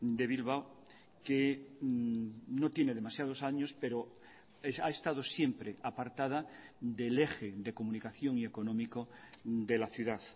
de bilbao que no tiene demasiados años pero ha estado siempre apartada del eje de comunicación y económico de la ciudad